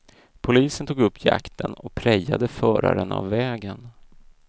Polisen tog upp jakten och prejade föraren av vägen.